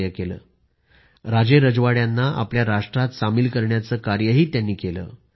त्यांनी राजेरजवाड्यांना आपल्या राष्ट्रात सामील करण्यासाठी काम केले